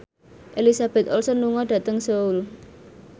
Elizabeth Olsen lunga dhateng Seoul